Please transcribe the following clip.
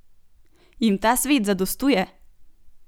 Jim ta svet zadostuje?